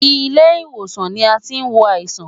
Ilé ìwòsàn ni a tí ń wo àìsàn.